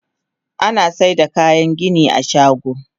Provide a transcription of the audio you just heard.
Anasaida kayan gini a shago.